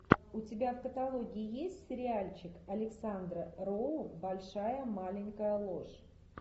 у тебя в каталоге есть сериальчик александра роу большая маленькая ложь